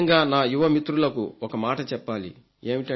ముఖ్యంగా నా యువ మిత్రులకు ఒక మాట చెప్పాలి